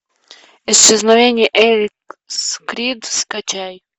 исчезновение элис крид скачай